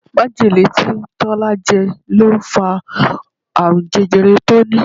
Majele tí Tọ́lá jẹ ló fa àrùn jẹjẹrẹ tó ní.